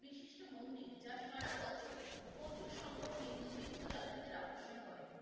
বিশিষ্ট মন্দির যা সারা বছর প্রচুর সংখ্যক হিন্দুতীর্থ যাত্রীদের আকর্ষণ করে।